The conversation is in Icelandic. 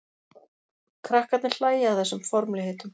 Krakkarnir hlæja að þessum formlegheitum.